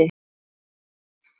Öllu er tjaldað til.